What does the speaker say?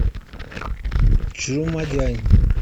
чжумадянь